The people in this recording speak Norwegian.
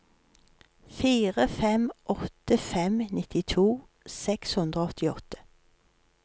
fire fem åtte fem nittito seks hundre og åttiåtte